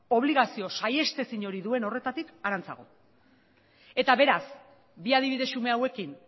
obligazio saihestezin duen horretatik harantzago eta beraz bi adibide xume hauekin